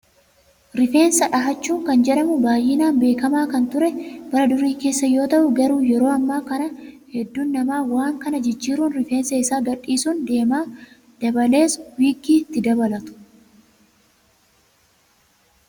Rifeensa dhahachuu kan jedhamu baay'inaan beekamaa kan ture bara durii keessa yoo ta'u, garuu yeroo ammaa kana hedduun namaa waan kana jijjiiruun rifeensa isaa gadhiisuun deema. Dabalees wiiggii itti dabalatu.